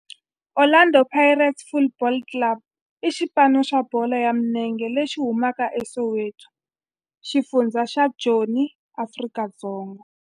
Orlando Pirates Football Club i xipano xa bolo ya milenge lexi humaka eSoweto, xifundzha xa Joni, Afrika-Dzonga.